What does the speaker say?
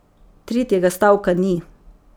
Tretjega stavka ni.